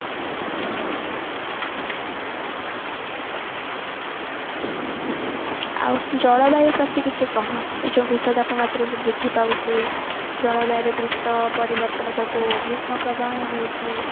ଆଉ ଜଳବାୟୁ ପ୍ରତି କିଛି କହ ଯୋଉ ବିଶ୍ଵ ତାପମାତ୍ରା ବୃଦ୍ଧି ପାଉଛି ଜଳବାଯୁରେ ଦ୍ରୁତ ପରିବର୍ତନ ଯୋଗୁ ଗ୍ରୀଷ୍ମ ପ୍ରବାହ ହଉଛି